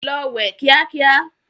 Lọ wẹ̀ kíá kíá!